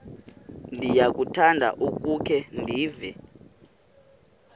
ndiyakuthanda ukukhe ndive